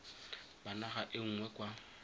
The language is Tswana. ba naga e nngwe kwa